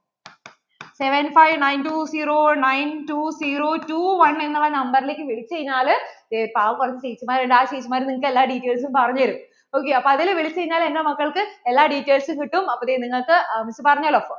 seven five nine two zero nine two zero two one എന്നുള്ള നമ്പറിലേക്ക് വിളിച്ചു കഴിഞ്ഞാൽ ദേ പാവം ചേച്ചിമാർ ഉണ്ട് ആ ചേച്ചിമാർ എല്ലാ details ഉം പറഞ്ഞു തരും ok അപ്പോൾ അതിൽ വിളിച്ചു കഴിഞ്ഞാൽ എൻ്റെ മക്കൾക്ക് എല്ലാ details ഉം കിട്ടും അപ്പോൾ ദേ നിങ്ങള്‍ക്ക് പറഞ്ഞുല്ലോ